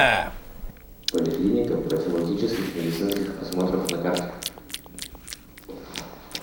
поликлиника профилактических медицинских осмотров на карте